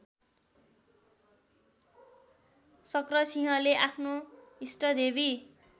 शक्रसिंहले आफ्नो इष्टदेवी